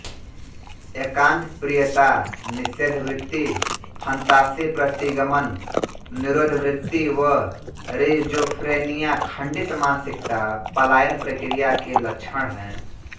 एकान्त प्रियता निषेधवृत्ति फन्तासी प्रतिगमन निरोधवृत्ति व रिनजोफ्रेनिया खंडित मानसिकता पलायनप्रक्रिया के लक्षण हैं